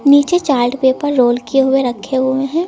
नीचे chart paper roll किये हुए रखें हुए हैं।